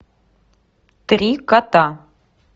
три кота